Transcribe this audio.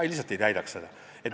Me lihtsalt ei saavutaks oma eesmärki.